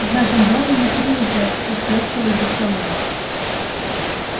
в нашем доме не принято эстетствовать за столом